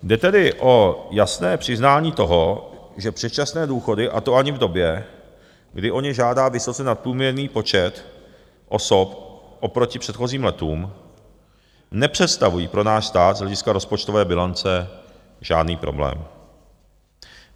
Jde tedy o jasné přiznání toho, že předčasné důchody, a to ani v době, kdy o ně žádá vysoce nadprůměrný počet osob oproti předchozím letům, nepředstavují pro náš stát z hlediska rozpočtové bilance žádný problém.